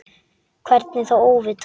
Hvernig þá óvitar?